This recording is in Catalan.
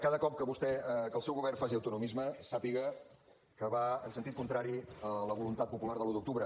cada cop que vostè que el seu govern faci autonomisme sàpiga que va en sentit contrari a la voluntat popular de l’un d’octubre